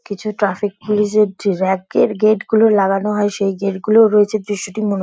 কিছু traffic police -এর gate -গুলো লাগানো হয় সেই গেট -গুলোও রয়েছে। দৃশ্যটি মনো --